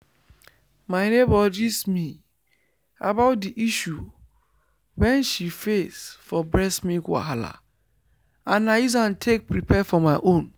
my neighbor gist me about the issue wen she face for breast milk wahala and i use am take prepare for my own